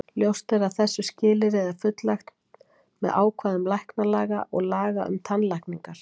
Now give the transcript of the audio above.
Ljóst er að þessu skilyrði er fullnægt með ákvæðum læknalaga og laga um tannlækningar.